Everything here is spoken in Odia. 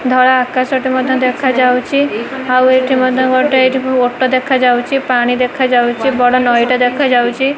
ଧଳା ଆକାଶ ଟେ ମଧ୍ୟ ଦେଖାଯାଉଛି ଆଉ ଏଠି ମଧ୍ୟ ଗୋଟେ ଅଟୋ ଦେଖାଯାଉଛି ପାଣି ଦେଖାଯାଉଛି ବଡ଼ ନଈ ଟା ଦେଖାଯାଉଛି।